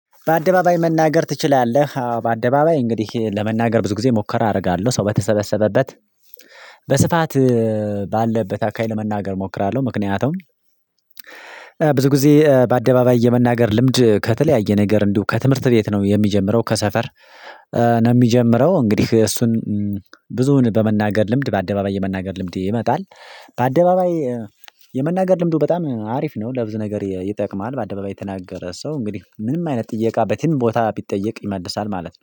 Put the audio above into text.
በአደባባይ መናገር ትችላለህ? አዎ በአደባባይ እንግዲህ ለመናገር ብዙ ጊዜ ሙከራ አደርጋለሁ ሰው በተሰበሰበበት በስፋት ባለበት አካባቢ ለመናገር እሞክራለሁ ምክንያቱም። ብዙ ጊዜ በአደባባይ የመናገር ልምድ ከተለያየ ነገር እንዲሁ ከትምህርት ቤት ነው የሚጀምረው ከሰፈር ነው የሚጀምረው። እንግዲህ እሱን ብዙውን በመናገር ልምድ በአደባባይ የመናገር ልምድ ይመጣል። በአደባባይ የመናገር ልምዱ በጣም አሪፍ ነው ለብዙ ነገር ይጠቅማል። በአደባባይ የተናገረ ሰው እንግዲህ ምንም አይነት ጥያቃ በትም ቦታ ቢጠየቅ ይመልሳል ማለት ነው